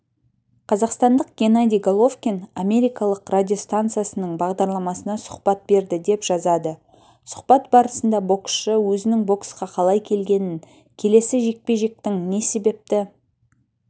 қазақстандық геннадий головкин америкалық радиостанциясының бағдарламасына сұхбат берді деп жазады сұхбат барысында боксшы өзінің боксқа қалай келгенін келесі жекпе-жектің не себепті